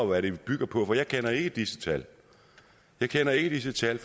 hvad de bygger på for jeg kender ikke disse tal jeg kender ikke disse tal